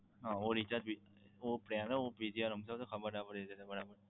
હા recharge ભી વો plan બીજી વાર સમજાવો ને ખબર ના પડી.